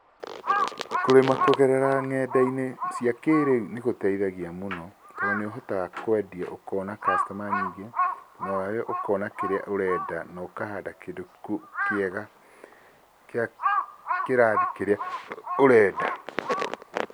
Kũrĩma kũgerera ng'enda-inĩ cia kĩrĩu nĩ gũteithagia mũno, tondũ nĩ ũhotaga kwendia ũkona customer nyingĩ, nawe ũkona kĩrĩa ũrenda, no ũkahanda kĩndũ kĩega kĩa kĩrathi kĩrĩa ũrenda.